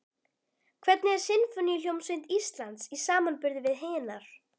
Hvernig er Sinfóníuhljómsveit Íslands í samanburði við hinar?